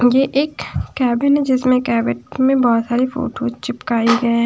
ये एक कैबिन है जिसमें कैबिन में बहुत सारी फोटो चिपकाई है।